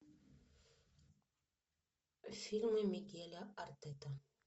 фильмы мигеля артеты